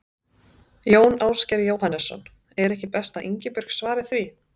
Jón Ásgeir Jóhannesson: Er ekki best að Ingibjörg svari því?